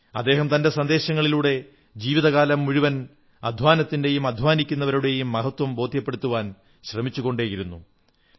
അദ്ദേഹം തന്റെ സന്ദേശങ്ങളിലൂടെ ജീവിതകാലം മുഴുവൻ അധ്വാനത്തിന്റെയും അധ്വാനിക്കുന്നവരുടെയും മഹത്വം ബോധ്യപ്പെടുത്താൻ ശ്രമിച്ചുകൊണ്ടേയിരുന്നു